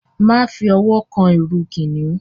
Máṣe fí òwò kán ìrù kìnìún!